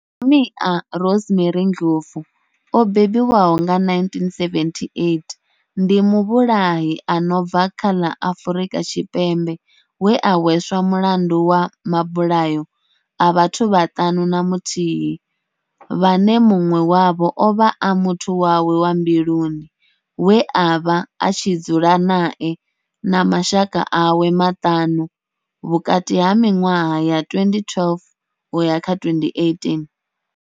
Nomia Rosemary Ndlovu o bebiwaho nga, 1978, ndi muvhulahi a no bva kha ḽa Afrika Tshipembe we a hweswa mulandu wa mabulayo a vhathu vhaṱanu na muthihi, vhane munwe wavho ovha a muthu wawe wa mbiluni we avha a tshi dzula nae na mashaka awe maṱanu vhukati ha minwaha ya 2012 na 2018.